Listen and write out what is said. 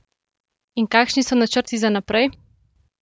In kakšni so načrti za naprej?